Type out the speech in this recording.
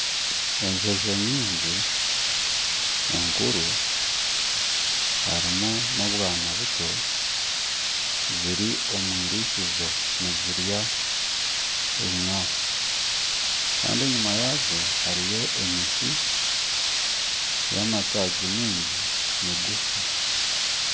Enjojo nyingi nkuru harimu n'obwana buto ziri omu irisizo nizirya ebinyaatsi Kandi enyima yazo hariyo emiti yamatagi mingi migufu.